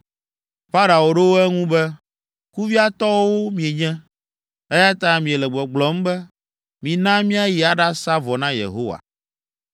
Farao ɖo eŋu be, “Kuviatɔwo mienye, eya ta miele gbɔgblɔm be, ‘Mina míayi aɖasa vɔ na Yehowa.’